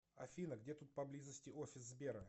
афина где тут поблизости офис сбера